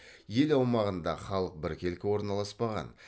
ел аумағында халық біркелкі орналаспаған